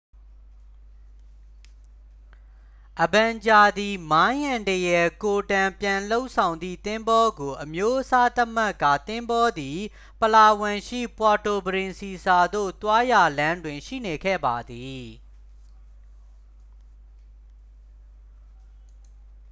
အဗန်ဂျာသည် မိုင်းအန္တရာယ်ကိုတန်ပြန်လုပ်ဆောင်သည့်သင်္ဘောကို အမျိုးအစားသတ်မှတ်ကာ သင်္ဘောသည် ပလာဝမ်ရှိ ပွာတိုပရင်စီဆာသို့ သွားရာလမ်းတွင် ရှိနေခဲ့ပါသည်